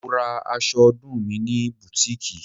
Mo ra aṣọ ọdún mi ní butiiki.